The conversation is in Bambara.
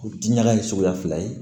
Diɲaga ye suguya fila ye